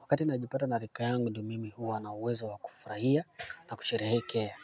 wakati najipata na rika yangu ndio mimi huwa na uwezo wa kufurahia na kusherehekea.